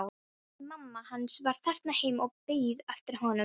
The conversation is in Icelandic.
Nei, mamma hans var þarna heima og beið eftir honum.